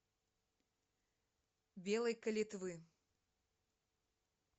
белой калитвы